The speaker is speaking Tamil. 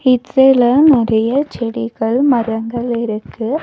இட் சைடுல நெறையா செடிகள் மரங்கள் இருக்கு.